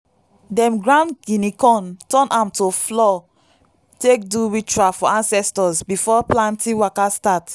dem grind guinea corn turn am to flour take do ritual for ancestors before planting waka start.